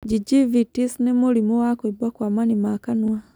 Gingivitis nĩ mũrimũ wa kũimba kwa mani ma kanua.